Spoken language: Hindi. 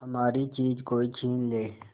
हमारी चीज कोई छीन ले